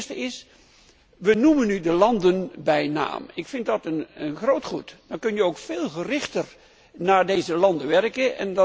Het eerste is we noemen nu de landen bij naam. Ik vind dat een zeer goede zaak. Dan kan je ook veel gerichter naar deze landen werken.